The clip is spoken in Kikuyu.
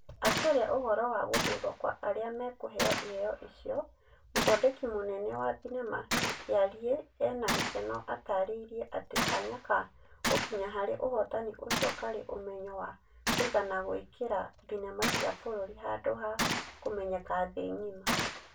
Akĩaria ũhoro wa gũthurwo kwa arĩa mekũheo Iheo icio, mũthondeki mũnene wa thenema Kĩariĩ ena gĩkeno atarĩirie atĩ Kanya ka gũkinya harĩ ũhotani ũcio karĩ ũmenyo wa kũigana gwĩkĩra thenema cia bũrũri handũ ha kũmenyeka thĩ ngima.